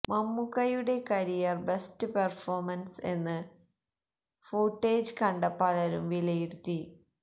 മമ്മൂക്കയുടെ career best performance എന്ന് footage കണ്ട പലരും വിലയിരുത്തി